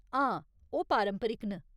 हां, ओह् पारंपरिक न।